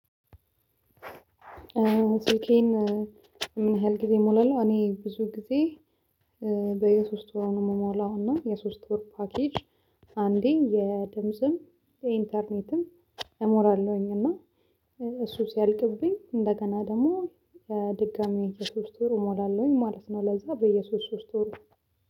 ስልኬን ምን ያህል ጊዜ እሞላለሁ? እኔ ብዙ ጊዜ በየሶስት ወር ነው የምሞላው እና የሶስት ወር ፓኬጅ አንዴ የድምጽም የኢንተርኔትም እሞላለሁኝ እና እሱ ሲያልቅብኝ እንደገና ደግሞ ድጋሚ የሶስት ወር እሞላለሁኝ ማለት ነው። ለዛ በየሶስት ሶስት ወር